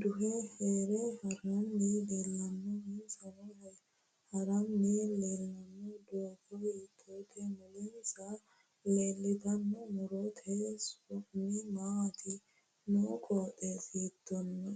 duhe hare haranni leelanno insa harinni leelanno doogo hiitoote mulemsa leeltanno murote su'mi maati noo qoxeesi hiitooho